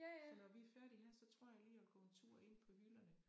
Så når vi er færdige her så tror jeg lige jeg vil gå en tur ind på hylderne